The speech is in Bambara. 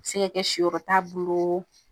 A bɛ se ka kɛ siyɔrɔ t'a bolo.